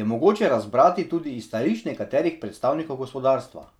je mogoče razbrati tudi iz stališč nekaterih predstavnikov gospodarstva.